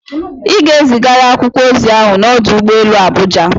Ị ga-ezigara akwụkwọ ozi ahụ n'ọdụ ụgbọ elu Abuja!